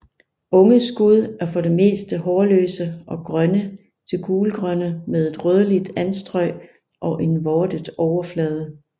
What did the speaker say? Unge skud er for det meste hårløse og grønne til gulgrønne med en rødligt anstrøg og en vortet overflade